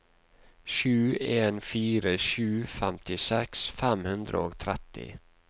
sju en fire sju femtiseks fem hundre og tretti